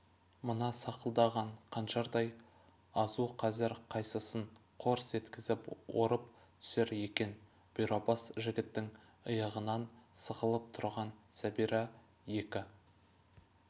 мына сақылдаған қанжардай азу қазір қайсысын қорс еткізіп орып түсер екен бұйрабас жігіттің иығынан сығалап тұрған сәбира екі